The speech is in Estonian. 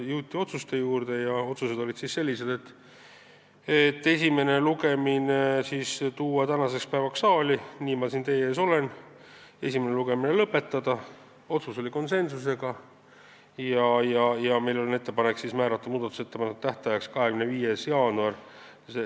Jõuti otsuste juurde ja need olid sellised: saata eelnõu esimesele lugemisele tänaseks päevaks saali – nii ma siin teie ees olen – ja esimene lugemine lõpetada ning meil on ettepanek määrata muudatusettepanekute esitamise tähtajaks 25. jaanuar s.